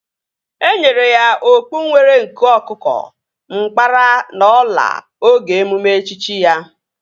Enyere ya okpu nwere nku ọkụkọ, nkpara na ọla oge emume echichi ya